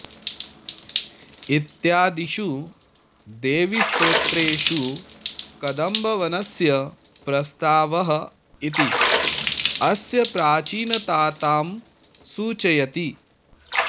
इत्यादिषु देवीस्त्रोत्रेषु कदम्बवनस्य प्रस्तावः इति अस्य प्राचीनतातां सूचयति